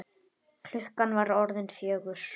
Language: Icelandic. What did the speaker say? Klukkan var orðin fjögur.